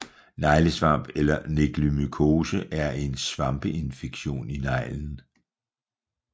Neglesvamp eller neglemykose er en svampeinfektion i neglen